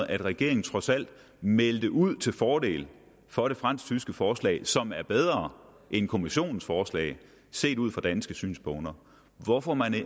at regeringen trods alt meldte ud til fordel for det fransk tyske forslag som er bedre end kommissionens forslag set ud fra danske synspunkter hvorfor